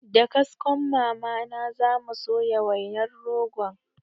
Da kaskon mama na zamu soya wainar rogon